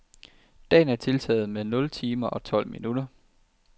Dagen er tiltaget med nul timer tolv minutter.